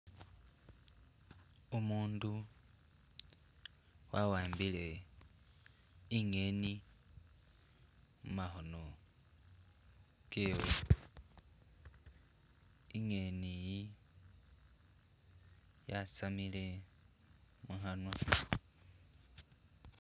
Umundu wawambile ingeni mumakhono kewe ingeni yi yasamile mukhanwa,